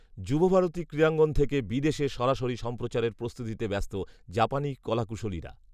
যুবভারতী ক্রীড়াঙ্গন থেকে বিদেশে সরাসরি সম্প্রচারের প্রস্তুতিতে ব্যস্ত জাপানি কলাকুশলীরা